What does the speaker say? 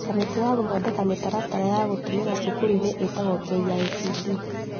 Kamĩtĩ ya gũthondeka mĩtaratara ya gũtũmĩra cukuru-inĩ itagwo KICD